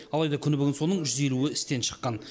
алайда күні бүгін соның жүз елуі істен шыққан